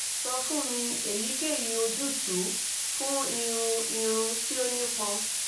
sọ fun mi eyikeyi ojutu fun irun irun ti o nipọn